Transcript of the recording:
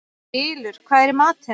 Ylur, hvað er í matinn?